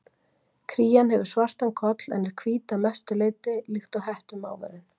Krían hefur svartan koll en er hvít að mestu leyti, líkt og hettumávurinn.